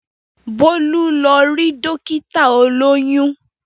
Bólú lọ rí Dókítà olóyún